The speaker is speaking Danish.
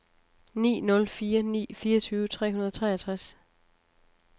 ni nul fire ni fireogtyve tre hundrede og treogtres